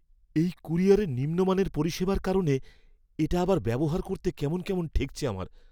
এই ক্যুরিয়রের নিম্নমানের পরিষেবার কারণে এটা আবার ব্যবহার করতে কেমন কেমন ঠেকছে আমার।